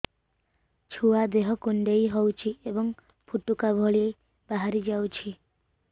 ଛୁଆ ଦେହ କୁଣ୍ଡେଇ ହଉଛି ଏବଂ ଫୁଟୁକା ଭଳି ବାହାରିଯାଉଛି